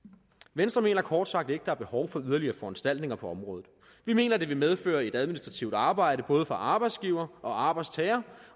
venstre mener kort sagt ikke at der er behov for yderligere foranstaltninger på området vi mener at det vil medføre et administrativt arbejde både for arbejdsgiver og arbejdstager